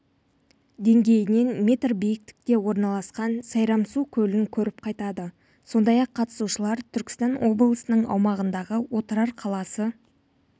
деңгейінен метр биікте орналасқан сайрамсу көлін көріп қайтады сондай-ақ қатысушылар түркістан облысының аумағындағы отырар қаласы